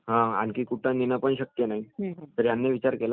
तर त्यांनी विचार केला ह्याच्यात जर आपण साइज छोटा करुन..